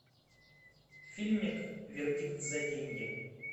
фильмик вердикт за деньги